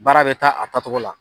Baara bɛ taa a taacogo la.